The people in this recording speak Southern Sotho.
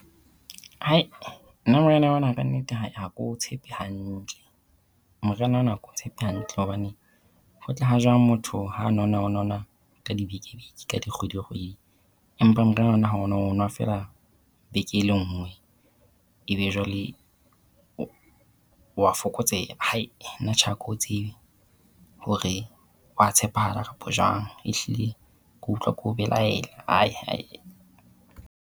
nna moriana ona ka nnete ha ke o tshepe hantle. Moriana ona ha ke o tshepe hantle hobane, ho tla ha jwang motho ha nona o nona ka dibeke-beke ka dikgwedi-kgwedi empa moriana ona ona ha o o nwa o nwa feela beke e lengwe ebe jwale o wa fokotseha. nna tjhe ha ke o tsebe hore wa tshepahala kapa jwang. Ehlile ke utlwa ke o belaela .